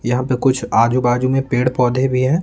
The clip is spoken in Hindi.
यहां पे कुछ आजू-बाजू में पेड़-पौधे भी हैं।